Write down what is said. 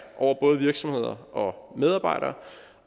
over både virksomheder og medarbejdere